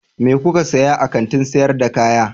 Me kuka saya a kantin sayar da kaya?